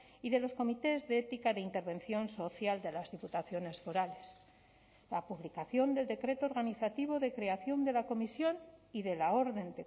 y de los comités de ética de intervención social de las diputaciones forales la publicación del decreto organizativo de creación de la comisión y de la orden